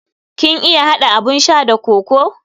Kin iya hada abun sha da kokoo?